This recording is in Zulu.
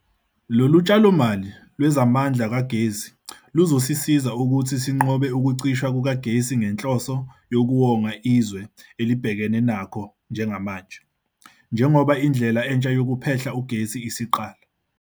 Lolu tshalomali lwezamandla kagesi luzosisiza ukuthi sinqobe ukucishwa kukagesi ngenhloso yokuwonga izwe elibhekene nakho njengamanje, njengoba indlela entsha yokuphehla ugesi isiqala.